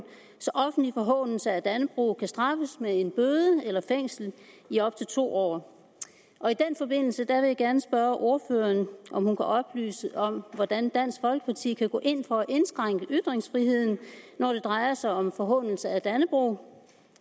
så offentlig forhånelse af dannebrog kan straffes med en bøde eller fængsel i op til to år og i den forbindelse vil jeg gerne spørge ordføreren om hun kan oplyse hvordan dansk folkeparti kan gå ind for at indskrænke ytringsfriheden når det drejer sig om forhånelse af dannebrog